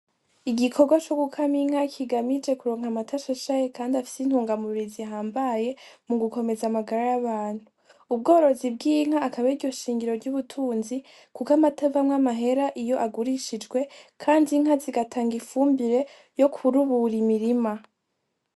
Igikorwa co gukama inka kigamije kuronka amata meza Kandi afise indema mubiri zihambaye mugukomeza amagara y'abantu .Ubworozi bw'inka akaba ariryo shingiro ry'ubutunzi Kuko amata avamwo amahera iyo agurishijwe ,kandi inka zigatanga ifumbire yo gutabira imirima.